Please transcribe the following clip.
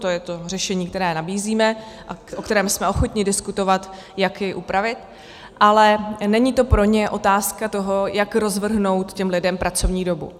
To je to řešení, které nabízíme a o kterém jsme ochotni diskutovat, jak jej upravit, ale není to pro ně otázka toho, jak rozvrhnout těm lidem pracovní dobu.